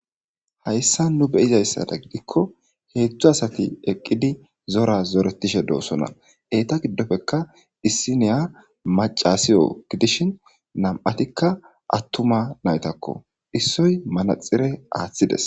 hayssa nu beyizayssada gidikko heetzthu asati eqqidi zora zoretishe doosona eeta giddofekka issi niya maca siyo gidishin nam'atikka attuma naytakko issoy manaxire aaththides.